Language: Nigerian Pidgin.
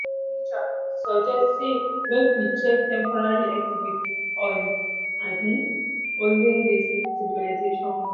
history teacher suggest say make we check temporary exhibit on um olden days civilization work.